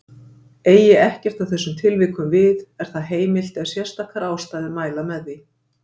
Eigi ekkert að þessum tilvikum við er það heimilt ef sérstakar ástæður mæla með því.